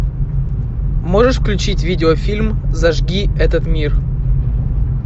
можешь включить видеофильм зажги этот мир